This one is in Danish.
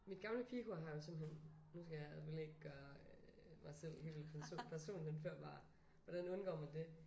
Mit gamle pigekor har jo simpelthen nu skal jeg selvfølgelig ikke gøre mig selv helt person personhenførbar. Hvordan undgår man det?